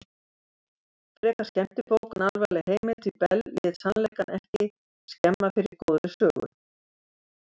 Frekar skemmtibók en alvarleg heimild því Bell lét sannleikann ekki skemma fyrir góðri sögu.